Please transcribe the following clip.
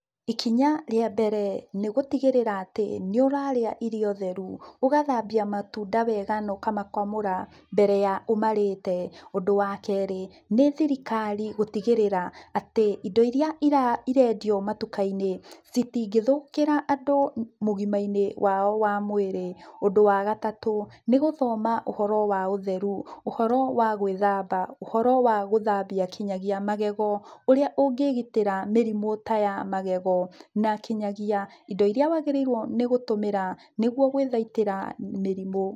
Ikinya rĩa mbere nĩgũtigĩrĩra atĩ nĩ ũrarĩa irio theru, ũgathambia matunda wega na ũkamakamũra mbere ya ũmarĩte. Ũndũ wa kerĩ, nĩ thirikari gũtigĩrĩra atĩ indo iria irendio matuka-inĩ, citingĩthũkĩra andũ ũgima-inĩ wao wa mwĩrĩ. Ũndũ wa gatatũ, nĩ gũthoma ũhoro wa ũtheru, ũhoro wa gwĩthamba, ũhoro wa gũthambia nginya magego, ũrĩa ũngĩgitĩra mĩrimũ taya magego na kinyagia indo iria wagĩrĩirwo nĩ gũtũmĩra nĩguo gwĩthaitĩra mĩrimũ.